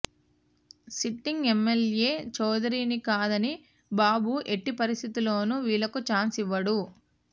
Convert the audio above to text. sitting MLA చౌదరిని కాదని బాబు ఎట్టి పరిస్థితుల్లోనూ వీళ్లకు ఛాన్స్ ఇవ్వడు